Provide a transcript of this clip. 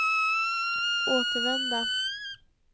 återvända